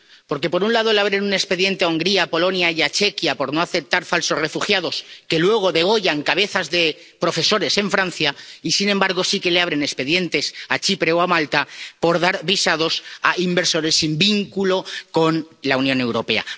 Porque por un lado le abren un expediente a Hungría, a Polonia y a Chequia por no aceptar falsos refugiados, que luego degüellan cabezas de profesores en Francia y, sin embargo, sí que abren expedientes a Chipre o a Malta por dar visados a inversores sin vínculo con la Unión Europea.